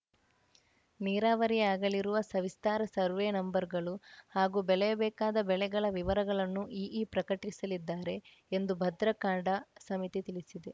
ನೀರಾವರಿಯಾಗಲಿರುವ ಸವಿಸ್ತಾರ ಸರ್ವೇ ನಂಬರ್‌ಗಳು ಹಾಗೂ ಬೆಳೆಯಬೇಕಾದ ಬೆಳೆಗಳ ವಿವರಗಳನ್ನೂ ಇಇ ಪ್ರಕಟಿಸಲಿದ್ದಾರೆ ಎಂದು ಭದ್ರಾ ಕಾಡಾ ಸಮಿತಿ ತಿಳಿಸಿದೆ